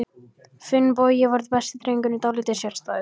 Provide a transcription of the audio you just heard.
Finnbogi var besti drengur, en dálítið sérstæður.